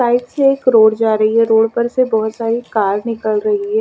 Site से एक road जा रही है रोड पर से बहोत सारी कार निकल रही है।